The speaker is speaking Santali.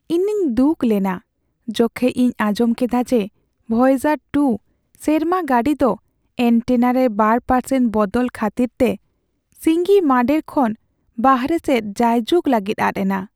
ᱤᱧᱤᱧ ᱫᱩᱠ ᱞᱮᱱᱟ ᱡᱚᱠᱷᱮᱡ ᱤᱧ ᱟᱸᱡᱚᱢ ᱠᱮᱫᱟ ᱡᱮ ᱵᱷᱚᱭᱮᱡᱟᱨᱼ᱒ ᱥᱮᱨᱢᱟ ᱜᱟᱹᱰᱤ ᱫᱚ ᱮᱹᱱᱴᱮᱱᱟ ᱨᱮ ᱒% ᱵᱚᱫᱚᱞ ᱠᱷᱟᱹᱛᱤᱨ ᱛᱮ ᱥᱤᱸᱜᱤ ᱢᱟᱺᱰᱮᱨ ᱠᱷᱚᱱ ᱵᱟᱦᱨᱮ ᱥᱮᱫ ᱡᱟᱭ ᱡᱩᱜᱽ ᱞᱟᱹᱜᱤᱫ ᱟᱫ ᱮᱱᱟ ᱾